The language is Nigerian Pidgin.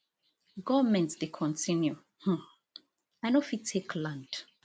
goment dey continue um i no fit take land